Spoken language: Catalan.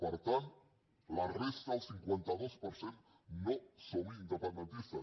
per tant la resta el cinquanta dos per cent no som independentistes